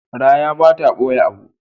Raya ba ta ɓoye abu.